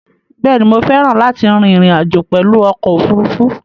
Bẹ́ẹ̀ ni, mo féràn láti rin ìrìn àjò pèlu okò òfurufú?